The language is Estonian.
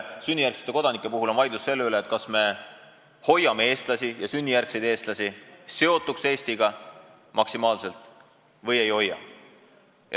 Sünnijärgsete kodanike puhul on vaidlus vaid selle üle, kas me hoiame neid maksimaalselt Eestiga seotuna või ei hoia.